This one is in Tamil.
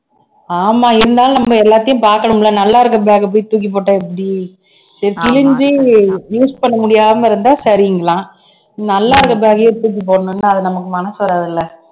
ஆமா இருந்தாலும் நம்ம எல்லாத்தையும் பாக்கணும்ல நல்லா இருக்கிற bag அ போய் தூக்கி போட்டா எப்படி சரி கிழிஞ்சி use பண்ண முடியாம இருந்தா சரிங்களா நல்லா இருக்க bag அ ஏன் தூக்கி போடணும்னா அது நமக்கு மனசு வராது இல்ல